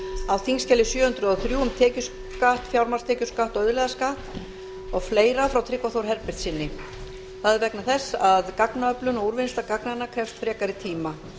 á þingskjali sjö hundruð og þrjú um tekjuskatt fjármagnstekjuskatt og auðlegðarskatt og fleira frá tryggva þór herbertssyni það er vegna þess að gagnaöflun og úrvinnsla gagnanna krefst frekari tíma